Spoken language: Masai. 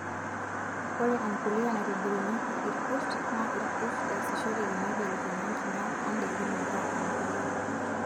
Ore empuliya naitobirunyieki irkurt naa irkurt esishoreki meibelekenya nkinyat oondaikin metaa embuliya.